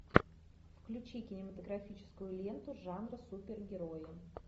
включи кинематографическую ленту жанра супергерои